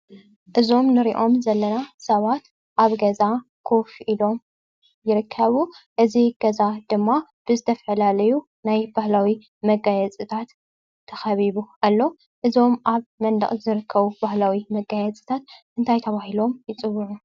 እዞም ንርኦም ዘለና ሰባት ኣብ ገዛ ኮፍ ኢሎም ይርከቡ። እዚ ገዛ ድማ ብዝተፍላላዩ ናይ በህላዊ መጋየፅታት ተኸቢቡ ኣሎ። እዞም ኣብ መንደቕ ዝርከቡ ባህላዊ መጋየፅታት እንታይ ተባሂሎም ይፅውዑ?